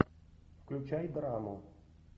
включай драму